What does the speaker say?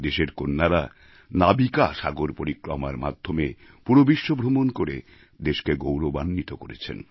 দেশের কন্যারা নাবিকা সাগর পরিক্রমার মাধ্যমে পুরো বিশ্ব ভ্রমণ করে দেশকে গৌরবাণ্বিত করেছেন